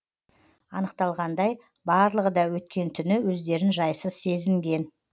анықталғандай барлығы да өткен түні өздерін жайсыз сезінген